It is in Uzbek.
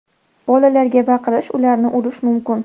Bolalarga baqirish, ularni urishish mumkin.